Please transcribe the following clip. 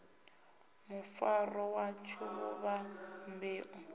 mufaro watsho vhuvha ḽeibu ḽu